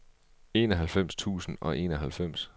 enoghalvfems tusind og enoghalvfems